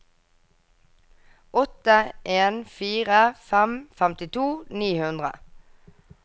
åtte en fire fem femtito ni hundre